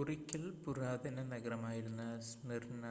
ഒരിക്കൽ പുരാതന നഗരമായിരുന്ന സ്മിർന